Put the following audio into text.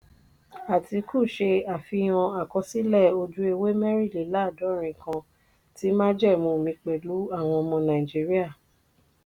atiku ṣe àfihàn àkọsílẹ̀ ojú-ewé mẹ́rìnléláàádọ́rin kan tí májẹ̀mú mi pẹ̀lú àwọn ọmọ nàìjíríà.